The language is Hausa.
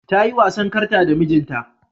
Ta yi wasan karta da mijinta.